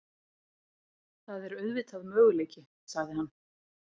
Það er auðvitað möguleiki- sagði hann.